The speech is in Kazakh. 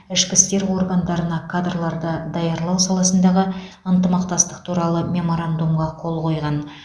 ішкі істер органдарына кадрларды даярлау саласындағы ынтымақтастық туралы меморандумға қол қойған